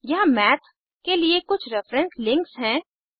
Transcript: यहाँ मैथ के लिए कुछ रेफेरेंस लिंक्स हैं